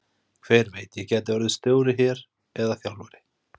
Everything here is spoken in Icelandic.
Hver veit, ég gæti orðið stjóri hér eða þjálfari?